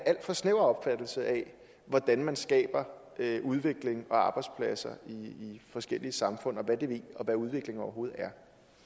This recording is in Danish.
alt for snæver opfattelse af hvordan man skaber udvikling og arbejdspladser i forskellige samfund og hvad udvikling overhovedet er